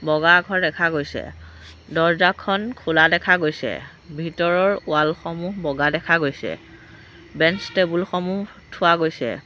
বগা আখৰ দেখা গৈছে দৰ্জাখন খোলা দেখা গৈছে ভিতৰৰ ৱাল সমূহ বগা দেখা গৈছে বেঞ্চ টেবুল সমূহ থোৱা গৈছে।